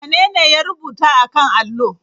Wanene ya rubuta a kan allo?